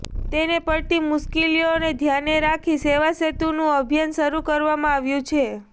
તેને પડતી મુશ્કેલીઓ ધ્યાને રાખી સેવાસેતુંનું અભિયાન શરૂ કરવામાં આવ્યું છે